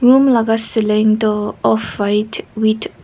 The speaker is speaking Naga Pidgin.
Room laga ceiling tuh off white with --